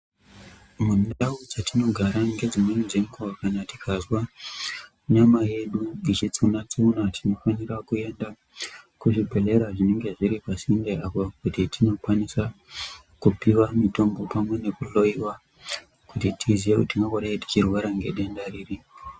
Mundau dzatinogara ngedzimweni dzenguwa kana tikazwa nyama yedu yechitsuna tsuna , tinofanira kuenda kuzvibhedhlera zvinenge zviri pasinde apo kuti tinokwanisa kupiwa mitombo pamwe nekuhloiwa kuti tiziye kuti tinombonge tichirwara ngedenda riri.